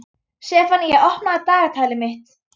Sefanía, opnaðu dagatalið mitt.